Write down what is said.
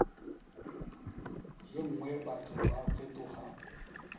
ye nngwe batho ba fetoga